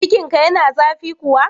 Cikinka yana zafi kuwa?